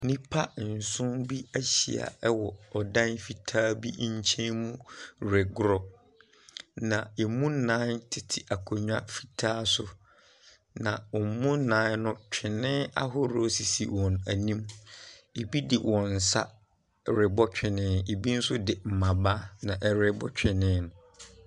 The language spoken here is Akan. Nipa nson bi ehyia ɛwɔ ɔdan fitaa bi nkyen mu regorɔ. Na emu nan tete akonwa fitaa so na wɔn mu nan no twene ahorɔ sisi wɔn enim. Ebi de wɔnsa rebɔ twene. Ebi so de mmaba na ɛrebɔ twene no.